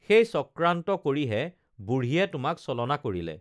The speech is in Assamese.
সেই চক্ৰান্ত কৰিহে বুঢ়ীয়ে তোমাক ছলনা কৰিলে